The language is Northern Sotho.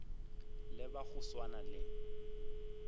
le ba go swana le